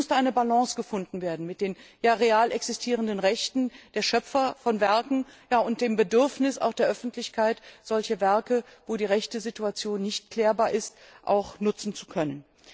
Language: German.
Denn es musste eine Balance gefunden werden zwischen den real existierenden Rechten der Schöpfer von Werken und dem Bedürfnis der Öffentlichkeit, solche Werke, bei denen die Rechtesituation nicht klärbar ist, auch nutzen zu können.